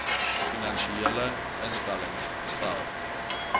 finansiële instellings stel